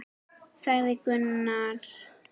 sagði Gunnar.